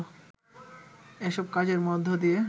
এসব কাজের মধ্য দিয়ে